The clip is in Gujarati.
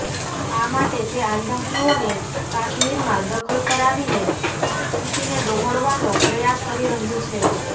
આ માટે તે આતંકીઓને કાશ્મીરમાં દખલ કરાવીને સ્થિતિને ડહોળવાનો પ્રયાસ કરી રહ્યું છે